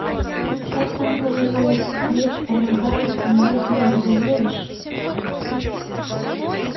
как там говорилось крест помогает но если в него веришь